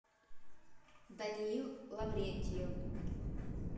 даниил лаврентьев